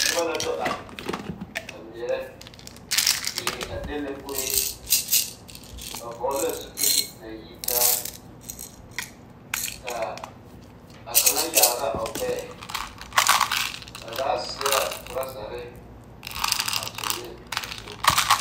Noba la do are a meɛrɛ die a lene kuree ba vɔɔle la zupili na yitaa ka a kaŋa yaare la o ɡbɛɛ ba zaa seɛ la trɔzare a tonɔ ne a toma.